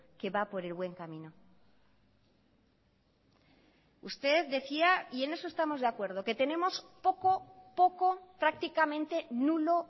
que va por el buen camino usted decía y en eso estamos de acuerdo que tenemos poco poco prácticamente nulo